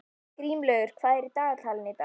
Grímlaugur, hvað er í dagatalinu í dag?